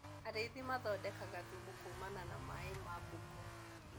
Arĩithi mathondekaga thumu kumana na mai ma mbũkũ.